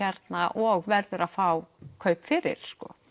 og verður að fá kaup fyrir